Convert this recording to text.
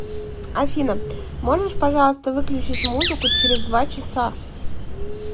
афина можешь пожалуйста выключить музыку через два часа